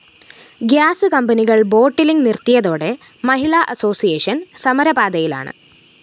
gas കമ്പനികള്‍ bottling നിര്‍ത്തിയതോടെ Mahila association സമരപാതയിലാണ്‌